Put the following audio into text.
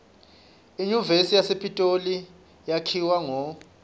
inyuvesi yasepitoli yakhiwa ngo